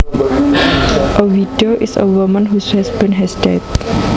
A widow is a woman whose husband has died